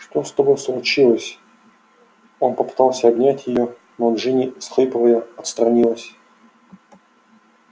что с тобой случилось он попытался обнять её но джинни всхлипывая отстранилась